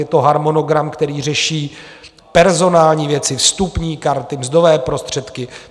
Je to harmonogram, který řeší personální věci, vstupní karty, mzdové prostředky.